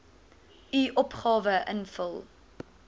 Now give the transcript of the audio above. u opgawe invul